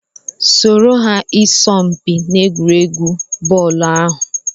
Soro ha n'isọmpi egwuregwu bọọlu ahụ!